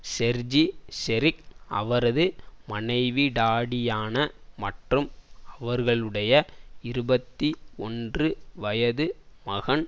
Sergei Serik அவரது மனைவி Tatiana மற்றும் அவர்களுடைய இருபத்தி ஒன்று வயது மகன்